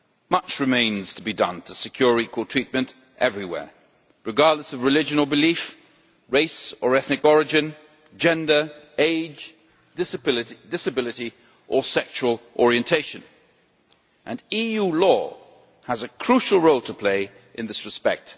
Much remains to be done to secure equal treatment everywhere, regardless of religion or belief, race or ethnic origin, gender, age, disability or sexual orientation and EU law has a crucial role to play in this respect.